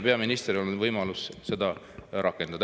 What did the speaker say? Peaministril on nüüd võimalus seda rakendada.